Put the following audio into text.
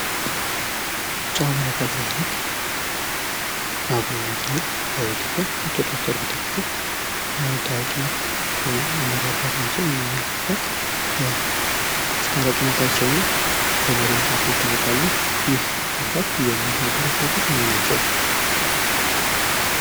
ብጹእ አቡነ ፓትሪያሪክ አቡነ ናትናኤል በኢትዮጵያ ኦርቶዶክስ ተዋህዶ ቤተክርስትያን ታዋቂ መሪ አባት ናቸው። እኚህ አባት በአስታራቂነታቸው እና በመሪነታቸው ይታወቃሉ። ይህ አባት የምን ሃገረ ስብከት መሪ ናቸው።